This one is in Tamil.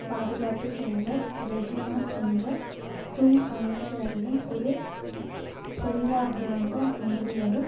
பாதுகாப்பு செயலர் ரெஜினா என்ற துங் அமைச்சரவையின் இரு செல்வாக்கிழந்த மந்திரிகளும்